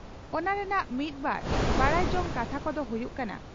ᱚᱱᱟ ᱨᱮᱱᱟᱜ ᱢᱤᱫ ᱵᱟᱨ ᱱᱟᱰᱟᱭ ᱡᱚᱝ ᱠᱟᱛᱷᱟ ᱠᱚᱫᱚ ᱦᱩᱭᱩᱜ ᱠᱟᱱᱟ ᱺᱼ